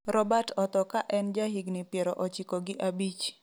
Robert otho ka en jahigni piero ochiko gi abich